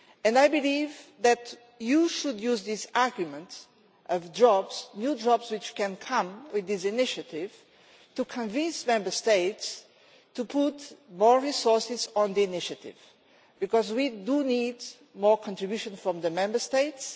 I believe that you should use this argument of jobs new jobs which can come from this initiative to convince Member States to put more resources into the initiative because we need more contribution from the Member States.